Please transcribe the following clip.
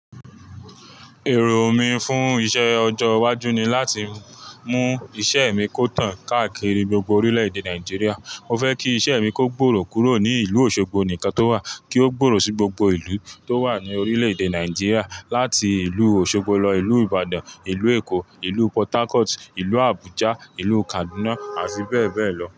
Èrò mi fún iṣẹ ọjọ́ iwájú ni láti mú iṣẹ mi kó tàn káàkiri gbogbo orílẹ̀ èdè Nàìjíríà. Mo fẹ́ kí iṣẹ mi kó gbòòrò kúrò ní ìlú Òṣogbo nìkan tó wà kí ó gbòòrò sí gbogbo ìlú tó wà ní orílẹ̀ èdè Nàìjíríà, láti ìlú Òṣogbo lọ ìlú Ìbàdàn, ìlú Èkó, ìlú Pòrt Harcourt, ìlú Àbújá, ìlú Kaduna àti bẹ́ẹ̀ bẹ́ẹ̀ lọ.